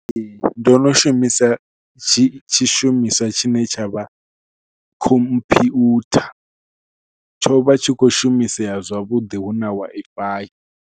Ee ndo no shumisa tshi tshishumiswa tshine tsha vha khomphyutha tsho vha tshi kho shumisea zwavhuḓi hu na Wi-Fi.